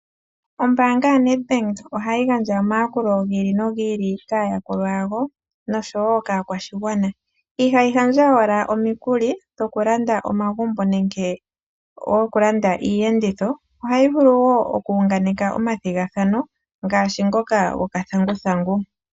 Ombaanga yoNedBank ohayi gandja omayakulo gi ili nogi ili kaayakulwa yawo nosho wo kaakwashigwana. Ihayi gandja owala omikuli dhokulanda omagumbo nenge dhokulanda iiyenditho, ohayi vulu wo oku unganeke omathigathano ngaashi ngoka gokathanguthangu.